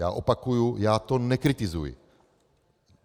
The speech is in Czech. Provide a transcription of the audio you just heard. Já opakuji, já to nekritizuji.